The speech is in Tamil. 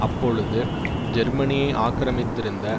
அப்பொழுது ஜேர்மனி ஆக்கிரமித்திருந்த